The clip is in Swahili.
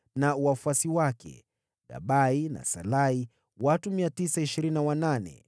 na wafuasi wake, Gabai na Salai watu 928.